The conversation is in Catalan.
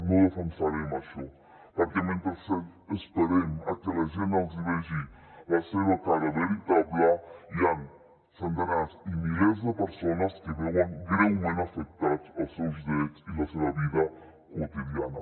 no defensarem això perquè mentre esperem que la gent els hi vegi la seva cara veritable hi han centenars i milers de persones que veuen greument afectats els seus drets i la seva vida quotidiana